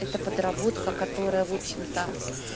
эта подработка которая в общем-то